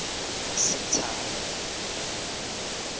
setshaba